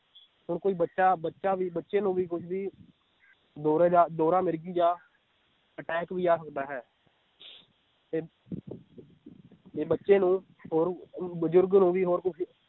ਹੁਣ ਕੋਈ ਬੱਚਾ ਬੱਚਾ ਵੀ ਬੱਚੇ ਨੂੰ ਵੀ ਕੁਝ ਵੀ ਦੌਰੇ ਜਾਂ ਦੌਰਾ ਮਿਰਗੀ ਜਾਂ attack ਵੀ ਆ ਸਕਦਾ ਹੈ ਤੇ ਤੇ ਬੱਚੇ ਨੂੰ ਹੋਰ ਅਹ ਬੁਜੁਰਗ ਨੂੰ ਵੀ ਹੋਰ ਕੁਝ